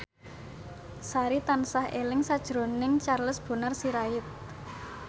Sari tansah eling sakjroning Charles Bonar Sirait